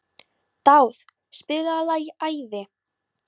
Dáð, spilaðu lagið „Æði“.